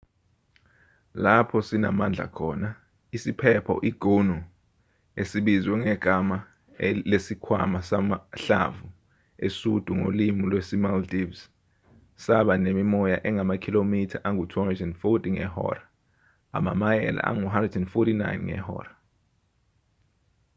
lapho sinamandla khona isiphepho i-gonu esibizwe ngegama lesikhwama samahlamvu esundu ngolimi lwesi-maldives saba nemimoya engamakhilomitha angu-240 ngehora amamayela ayi-149 ngehora